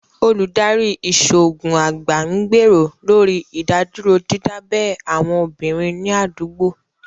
Olùdarí Ìṣòògùn àgbà ń gbèrò lórí ìdádúró dídábẹ́ àwọn obìnrin ní àdúgbò